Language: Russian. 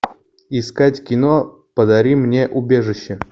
искать кино подари мне убежище